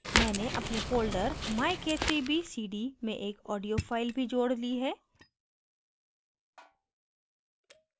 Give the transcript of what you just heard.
मैंने अपने folder myk3bcd में एक audio file भी जोड़ ली है